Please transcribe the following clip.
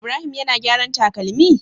Ibrahim yAna gyaran takalami?